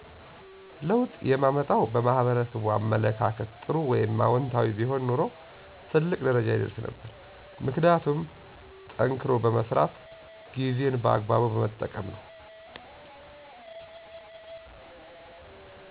ለውጥ የማመጣው በማህበረሰቡ አመለካከት ጥሩ ወይም አወንታዊ ቢሆን ኑሮ ትልቅ ደረጃ ይደረስ ነበር። ምክንያቱም ጠንክሮ በመስራት ጊዜን በአግባቡ በመጠቀም ነው።